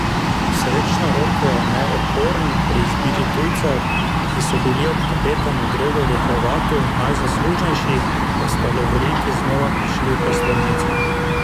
Srečno roko je imel Okorn pri izbiri tujcev, ki so bili ob kapetanu Gregorju Hrovatu najzaslužnejši, da sta lovoriki znova prišli v prestolnico.